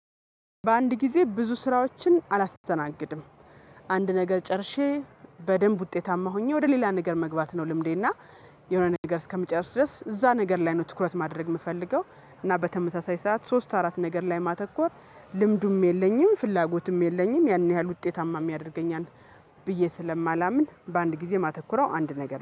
በአንድ ጊዜ ብዙ ስራዎችን አላስተናግድም። አንድ ነገር ጨርሼ በደንብ ውጤታማ ሆኜ ወደ ሌላ ነገር መግባት ነው። ልምዴና የሆነ ነገር እስከምጨርስ ድረስ እዛ ነገር ላይ ነው ትኩረት ማድረግ የምፈልገው። እና በተመሳሳይ ሰዓት ሶስት አራት ነገር ላይ ማተኮር ልምዱም የለኝም ፍላጎትም የለኝም። ያን ያህል ውጤታማ የሚያደርገኝ ብዬ ስለማላምን በአንድ ጊዜ ማተኩረው አንድ ነገር